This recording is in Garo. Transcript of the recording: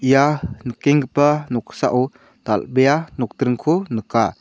ia nikenggipa noksao dal·bea nokdringko nika.